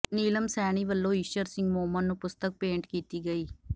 ਨੀਲਮ ਸੈਣੀ ਵੱਲੋਂ ਈਸ਼ਰ ਸਿੰਘ ਮੋਮਨ ਨੂੰ ਪੁਸਤਕ ਭੇਂਟ ਕੀਤੀ ਗਈ